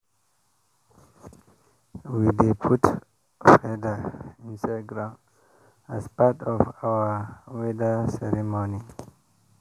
we dey put feather inside ground as part of our weather ceremony.